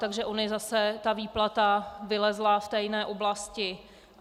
Takže ona zase ta výplata vylezla v té jiné oblasti.